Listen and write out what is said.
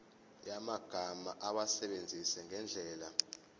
yamagama awasebenzise ngendlela